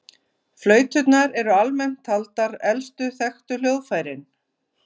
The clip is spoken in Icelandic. Flauturnar eru almennt taldar elstu þekktu hljóðfærin.